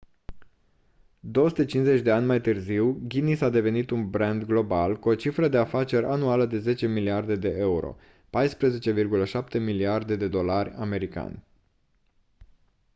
250 de ani mai târziu guinness a devenit un brand global cu o cifră de afaceri anuală de 10 miliarde de euro 14,7 miliarde de dolari sua